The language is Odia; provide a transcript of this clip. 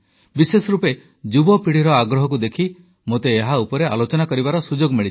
ବିଶେଷରୂପେ ଯୁବପିଢ଼ିର ଆଗ୍ରହକୁ ଦେଖି ମୋତେ ଏହା ଉପରେ ଆଲୋଚନା କରିବାର ସୁଯୋଗ ମିଳିଛି